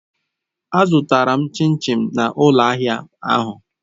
Azụtara m chin chin na ụlọ ahịa ahụ.